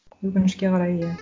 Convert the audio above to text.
өкінішке қарай иә